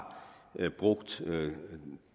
brugt